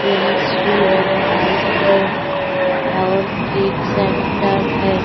यह श्री राम आइसक्रीम और cake centre है।